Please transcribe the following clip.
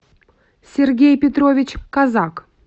сергей петрович казак